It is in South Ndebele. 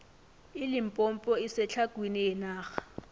ilimpompo isetlhagwini yenarha